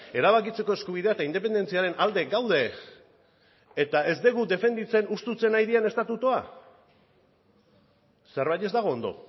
erabakitzeko eskubidea eta independentziaren alde gaude eta ez dugu defenditzen hustutzen ari diren estatutua zerbait ez dago ondo